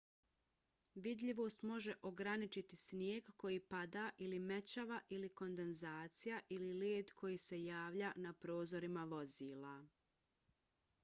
vidljivost može ograničiti snijeg koji pada ili mećava ili kondenzacija ili led koji se javlja na prozorima vozila